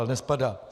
Ale nespadá.